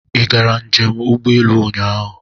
Ị gara njem ụgbọelu ụnyaahụ?